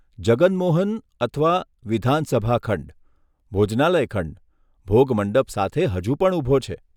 જગન મોહન અથવા, વિધાનસભા ખંડ, ભોજનાલય ખંડ, ભોગ મંડપ સાથે હજુ પણ ઊભો છે.